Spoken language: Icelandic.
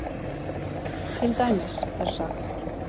Til dæmis er sagt